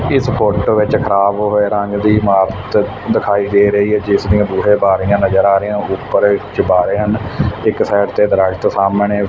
ਇਸ ਫੋਟੋ ਵਿੱਚ ਖਰਾਬ ਹੋਏ ਰੰਗ ਦੀ ਇਮਾਰਤ ਦਿਖਾਈ ਦੇ ਰਹੀ ਹੈ ਜਿਸ ਦੀਆਂ ਬੂਹੇ ਸਾਰੀਆਂ ਨਜ਼ਰ ਆ ਰਹੀਆ ਉਪਰ ਚਬਾਰੇ ਹਨ ਇੱਕ ਸਾਈਡ ਤੇ ਦਰਖਤ ਸਾਹਮਣੇ--